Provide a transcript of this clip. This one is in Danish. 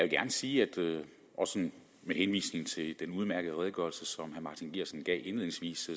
gerne sige også med henvisning til den udmærkede redegørelse som martin geertsen gav indledningsvis